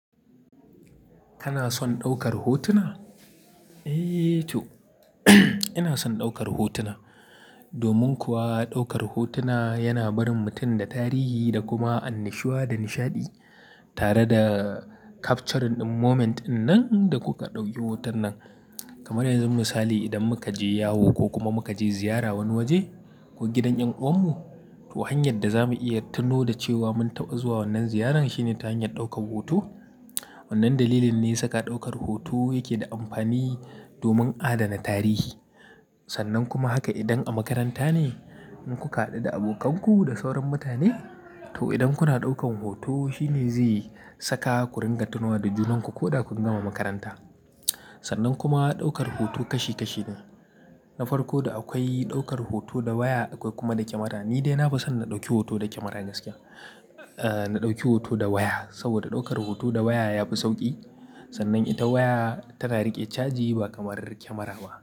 Kana son ɗaukar hotuna? Eee to ina son ɗaukar hotuna. Domin kuwa ɗaukar hotuna yana barin mutum da tarihi da kuma annashuwa da nishaɗi tare da capturing ɗin moment dinnan da kuka ɗauki hoton nan. Kamar yanzu misali idan muka je yawo ko kuma muka je ziyara wani waje ko gidan ƴan uwanmu. To hanyar da za mu iya tuno da cewa mun taɓa zuwa wannan ziyaran shine ta hanyar ɗaukar hoto. Wannan dalilin ne saka ɗaukar hoto yake da amfani domin adana tarihi. Sannan kuma haka idan a makaranta ne, in ku ka haɗu da abokanku da sauran mutane, to idan kuna ɗaukan hoto shine zai saka ku ringa tunawa da junanku ko da kun gama makaranta. Sannan kuma ɗaukar hoto kashi kashi ne. Na farko da akwai ɗaukar hoto da waya akwai kuma da kyamara. Ni dai na fi son na ɗauki hoto da kyamara gaskiya. Eh, na ɗauki hoto da waya. Saboda ɗaukar hoto da waya ya fi sauƙi. Sannan ita waya tana riƙe caji ba kamar kyamara ba.